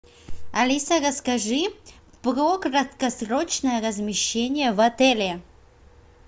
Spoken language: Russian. алиса расскажи про краткосрочное размещение в отеле